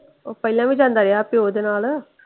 ਉਹ ਪਹਿਲਾਂ ਵੀ ਜਾਂਦਾ ਰਿਹਾ ਪਿਓ ਦੇ ਨਾਲ।